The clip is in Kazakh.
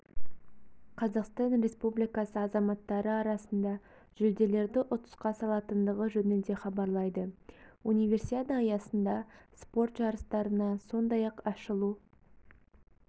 қазақстан республикасы азаматтары арасында жүлделерді ұтысқа салатындығы жөнінде хабарлайды универсиада аясында спорт жарыстарына сондай-ақ ашылу